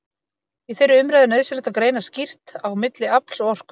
Í þeirri umræðu er nauðsynlegt að greina skýrt á milli afls og orku.